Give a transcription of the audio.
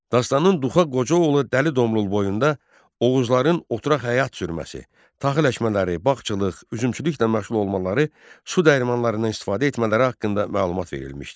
Dastanın Duxa Qoca oğlu Dəli Domrul boyunda Oğuzların oturaq həyat sürməsi, taxıl əkmələri, bağçılıq, üzümçülüklə məşğul olmaları, su dəyirmanlarından istifadə etmələri haqqında məlumat verilmişdi.